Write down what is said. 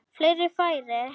Fleiri færi?